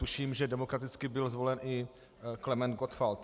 Tuším, že demokraticky byl zvolen i Klement Gottwald.